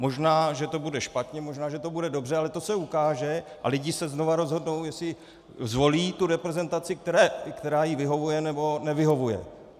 Možná že to bude špatně, možná že to bude dobře, ale to se ukáže a lidi se znovu rozhodnou, jestli zvolí tu reprezentaci, která jim vyhovuje nebo nevyhovuje.